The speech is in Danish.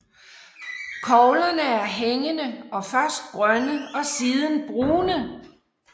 Koglerne er hængende og først grønne og siden brune